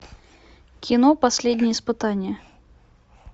кино последнее испытание